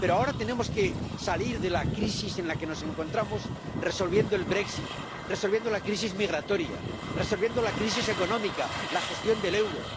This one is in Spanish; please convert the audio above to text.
Pero ahora tenemos que salir de la crisis en la que nos encontramos resolviendo el brexit resolviendo la crisis migratoria, resolviendo la crisis económica, la gestión del euro.